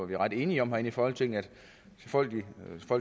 vi er ret enige om herinde i folketinget at folk